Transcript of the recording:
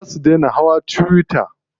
Za su dai na hawa tuwiya.